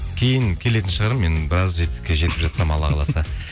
кейін келетін шығар мен біраз жетістікке жетіп жатсам алла қаласа